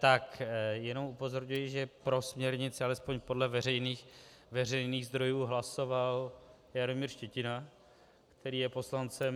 Tak jenom upozorňuji, že pro směrnici alespoň podle veřejných zdrojů hlasoval Jaromír Štětina, který je poslancem...